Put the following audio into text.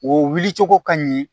O wuli cogo ka ɲi